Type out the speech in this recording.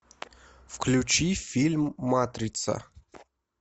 включи фильм матрица